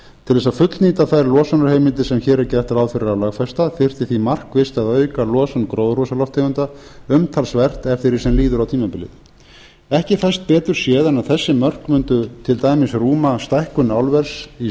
til þess að fullnýta þær losunarheimildir sem hér er gert ráð fyrir að lögfesta þyrfti því markvisst að auka losun gróðurhúsalofttegunda umtalsvert eftir því sem líður á tímabilið ekki fæst betur séð en að þessi mörk mundu til dæmis rúma stækkun álvers í